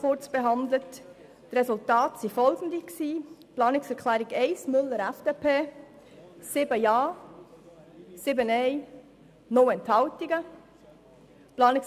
Über die Planungserklärung 1 Müller/FDP wurde mit 7 Ja- zu 7 Nein-Stimmen und 0 Enthaltungen abgestimmt.